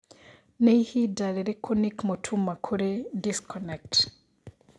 Nĩ ĩhinda rĩrĩkũ Nick Mutuma kũri disconnect?